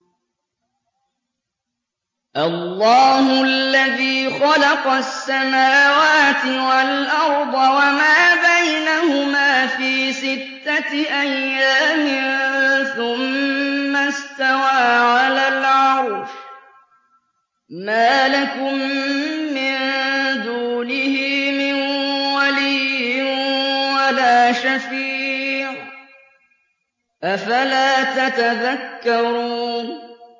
اللَّهُ الَّذِي خَلَقَ السَّمَاوَاتِ وَالْأَرْضَ وَمَا بَيْنَهُمَا فِي سِتَّةِ أَيَّامٍ ثُمَّ اسْتَوَىٰ عَلَى الْعَرْشِ ۖ مَا لَكُم مِّن دُونِهِ مِن وَلِيٍّ وَلَا شَفِيعٍ ۚ أَفَلَا تَتَذَكَّرُونَ